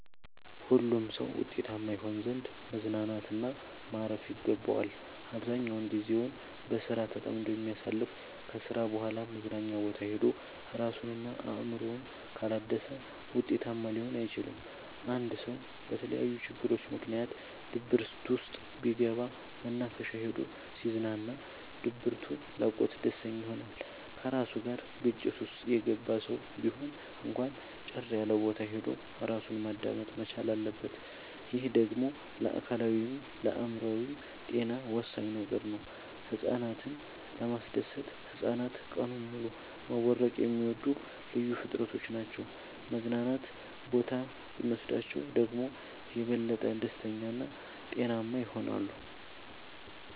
ሁሉም ሰው ውጤታማ ይሆን ዘንድ መዝናናት እና ማረፍ ይገባዋል። አብዛኛውን ግዜውን በስራ ተጠምዶ የሚያሳልፍ ከስራ በኋላ መዝናኛ ቦታ ሄዶ እራሱን እና አእምሮውን ካላደሰ ውጤታማ ሊሆን አይችልም። አንድ ሰው በተለያዩ ችግሮች ምክንያት ድብርት ውስጥ ቢገባ መናፈሻ ሄዶ ሲዝናና ድብቱ ለቆት ደስተኛ ይሆናል። ከራሱ ጋር ግጭት ውስጥ የገባ ሰው ቢሆን እንኳን ጭር ያለቦታ ሄዶ እራሱን ማዳመጥ መቻል አለበት። ይህ ደግሞ ለአካላዊይም ለአእምሮአዊም ጤና ወሳኝ ነገር ነው። ህፃናትን ለማስደሰት ህፃናት ቀኑን ሙሉ መቦረቅ የሚወዱ ልዩ ፍጥረቶች ናቸው መዝናና ቦታ ብኖስዳቸው ደግሞ የበለጠ ደስተኛ እና ጤናማ ይሆናሉ።